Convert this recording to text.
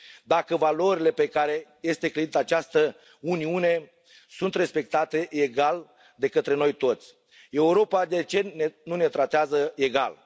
Dacă valorile pe care este clădită această Uniune sunt respectate egal de către noi toți, Europa de ce nu ne tratează egal?